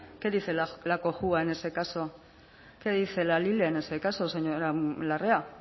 qué dice la cojua en ese caso qué la lile en ese caso señora larrea